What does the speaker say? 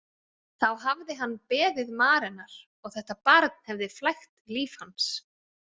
Þá hafði hann beðið Marenar og þetta barn hefði flækt líf hans.